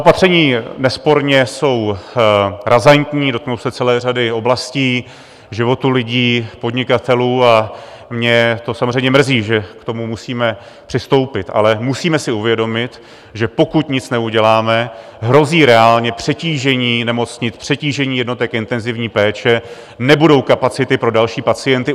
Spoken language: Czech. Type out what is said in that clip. Opatření nesporně jsou razantní, dotknou se celé řady oblastí, života lidí, podnikatelů, a mě to samozřejmě mrzí, že k tomu musíme přistoupit, ale musíme si uvědomit, že pokud nic neuděláme, hrozí reálně přetížení nemocnic, přetížení jednotek intenzivní péče, nebudou kapacity pro další pacienty.